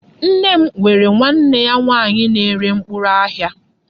Nne m nwere nwanne ya nwaanyị na-ere mkpụrụ n'ahịa.